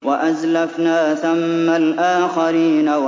وَأَزْلَفْنَا ثَمَّ الْآخَرِينَ